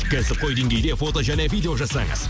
кәсіпқой деңгейде фото және видео жасаңыз